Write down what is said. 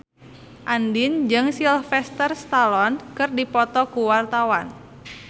Andien jeung Sylvester Stallone keur dipoto ku wartawan